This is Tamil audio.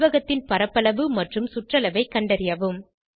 செவ்வகத்தின் பரப்பளவும் மற்றும் சுற்றளவை கண்டறியவும்